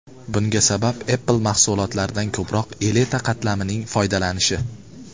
Bunga sabab Apple mahsulotlaridan ko‘proq elita qatlamning foydalanishi.